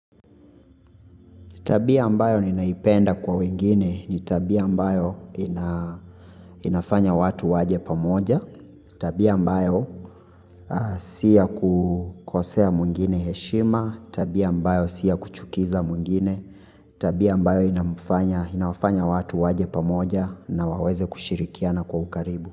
Tabia ambayo ninaipenda kwa wengine ni tabia ambayo inafanya watu waje pamoja, tabia ambayo si ya kukosea mwingine heshima, tabia ambayo si ya kuchukiza mwingine, tabia ambayo inafanya watu waje pamoja na waweze kushirikiana kwa ukaribu.